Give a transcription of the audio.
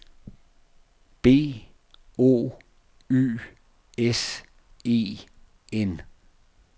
B O Y S E N